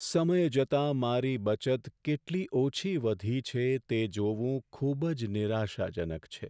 સમય જતાં મારી બચત કેટલી ઓછી વધી છે તે જોવું ખૂબ જ નિરાશાજનક છે.